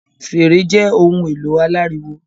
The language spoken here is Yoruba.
Fèrè jẹ ohùn èlò orin aláriwo